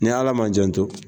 Ni ala ma jan to